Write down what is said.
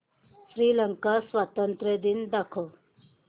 श्रीलंका स्वातंत्र्य दिन दाखव